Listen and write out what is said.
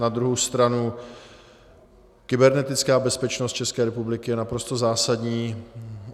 Na druhou stranu kybernetická bezpečnost České republiky je naprosto zásadní.